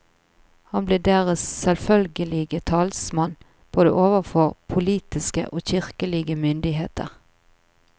Han ble deres selvfølgelige talsmann både overfor politiske og kirkelige myndigheter.